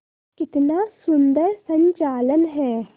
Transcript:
कितना सुंदर संचालन है